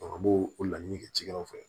an b'o o laɲini kɛ cikɛw fɛ